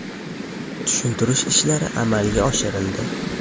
Tushuntirish ishlari amalga oshirildi.